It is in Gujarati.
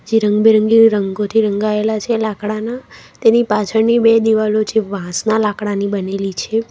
જે રંગબેરંગી રંગોથી રંગાયેલા છે લાકડાના તેની પાછળની બે દીવાલો જે વાંસના લાકડાની બનેલી છે.